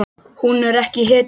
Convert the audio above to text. Hún er ekki hetja.